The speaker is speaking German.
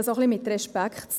Es geht auch um Respekt.